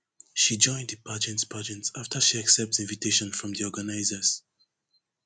she join di pageant pageant afta she accept invitation from di organizers